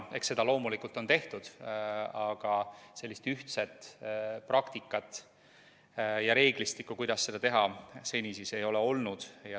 Eks seda loomulikult on tehtud, aga sellist ühtset praktikat ja reeglistikku, kuidas seda teha, seni ei ole olnud.